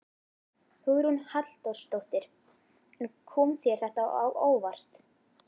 Hugrún Halldórsdóttir: En kom þér þetta á óvart?